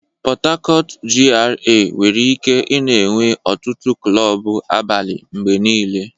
Port Harcourt GRA nwere ike ị-na enwe ọtụtụ klọb abalị mgbe niile.